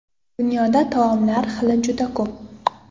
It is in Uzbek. Dunyoda taomlar xili juda ko‘p.